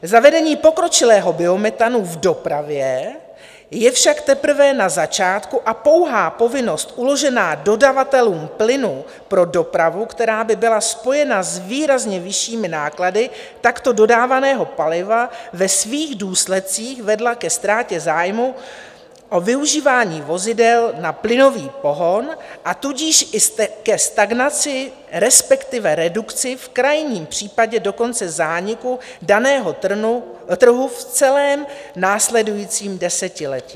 Zavedení pokročilého biometanu v dopravě je však teprve na začátku a pouhá povinnost uložená dodavatelům plynu pro dopravu, která by byla spojena s výrazně vyššími náklady takto dodávaného paliva, by ve svých důsledcích vedla ke ztrátě zájmu o využívání vozidel na plynový pohon, a tudíž i ke stagnaci, respektive redukci, v krajním případě dokonce zániku daného trhu v celém následujícím desetiletí.